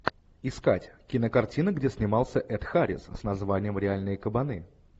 искать кинокартина где снимался эд харрис с названием реальные кабаны